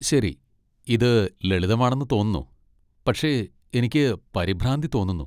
ശരി, ഇത് ലളിതമാണെന്ന് തോന്നുന്നു, പക്ഷേ എനിക്ക് പരിഭ്രാന്തി തോന്നുന്നു.